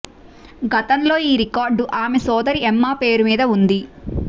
గతంలో ఈ రికార్డు ఆమె సోదరి ఎమ్మా పేరు మీద ఉంది